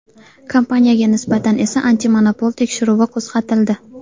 Kompaniyaga nisbatan esa antimonopol tekshiruvi qo‘zg‘atildi.